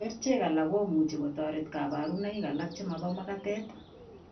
Kerichek alak komuch kotoret kabarunoik alak chemobo magatet